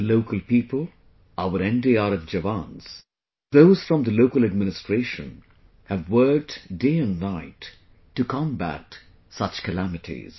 The local people, our NDRF jawans, those from the local administration have worked day and night to combat such calamities